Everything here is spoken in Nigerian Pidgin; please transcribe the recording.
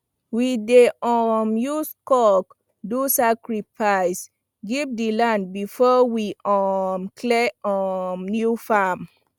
we dey um use cock do sacrifice give the land before we um clear um new farm